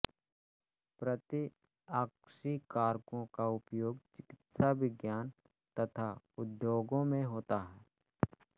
प्रतिआक्सीकारकों का उपयोग चिकित्साविज्ञान तथा उद्योगों में होता है